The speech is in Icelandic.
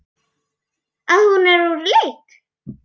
Að hún er úr leik.